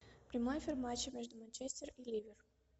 прямой эфир матча между манчестер и ливер